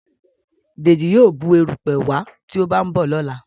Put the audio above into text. Deji yíò Bù erùpẹ̀ wá tí o ba nbọ lọla